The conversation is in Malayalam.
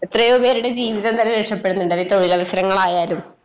എത്രയോ പേരുടെ ജീവിതം തന്നെ രക്ഷപ്പെടുന്നുണ്ട് അത് തൊഴിലവസരങ്ങളായാലും.